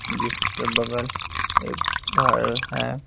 जिसके बगल एक घर है।